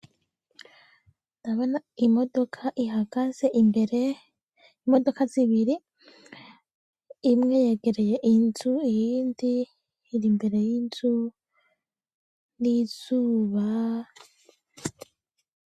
Ndabona, imodoka ihagaze, imbere, imodoka zibiri, imwe yegereye inzu iyindi iri mbere y'inzu, n'izubaaa